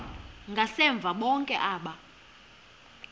ngasemva bonke aba